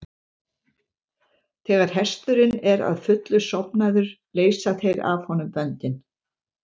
Þegar hesturinn er að fullu sofnaður leysa þeir af honum böndin.